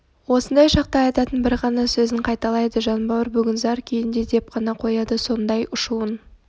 осындай шақта айтатын бір ғана сөзін қайталайды жанбауыр бүгін зар күйінде деп қана қояды сондай ұшуын